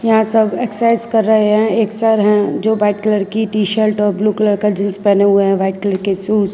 यहां सब एक्सरसाइज कर रहे हैं एक सर हैं जो वाइट कलर की टी_शर्ट और ब्लू कलर का जींस पहने हुए हैं व्हाइट कलर के शूज ।